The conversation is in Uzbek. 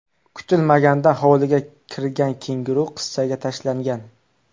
Kutilmaganda hovliga kirgan kenguru qizchaga tashlangan.